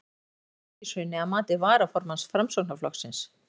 En hvað veldur þessu fylgishruni að mati varaformanns Framsóknarflokksins?